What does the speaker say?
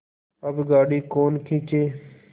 अब गाड़ी कौन खींचे